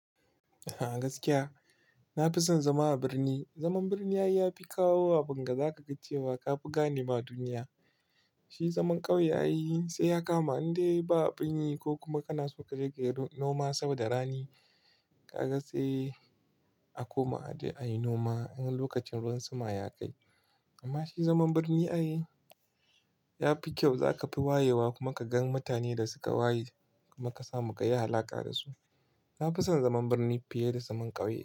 A gaskiya, na fi son zama a birni. Zaman birni ya fi kawo abun ga zaka ga cewa ka fi gane ma duniya. Shi zaman ƙauye ai sai ya kama, in dai ba a bin yi ko kuma kana so ka riƙe noma saboda rani. Ka ga sai a koma a je a yi noma, in lokacin ruwan sama ya kai. Amma shi zaman birni ai ya fi kyau. Zaka fi wayewa kuma ka gan mutane da suka waye, kuma ka samu ka yi alaƙa da su. Na fi son zaman birni fiye da zaman ƙauye.